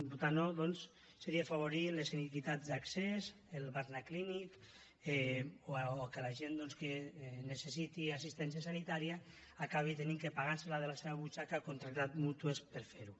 votar no doncs seria afavorir les inequitats d’accés el barnaclínic o que la gent que necessiti assistència sanitària acabi havent de pagar se la de la seva butxaca contractant mútues per fer ho